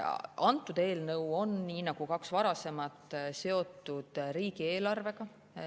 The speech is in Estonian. Antud eelnõu on nii nagu kaks varasematki seotud riigieelarvega.